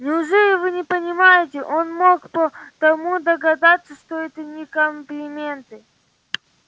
неужели вы не понимаете он мог по тону догадаться что это не комплименты